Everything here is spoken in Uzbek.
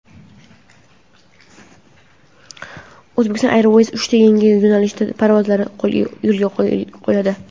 Uzbekistan Airways uchta yangi yo‘nalishda parvozlarni yo‘lga qo‘yadi.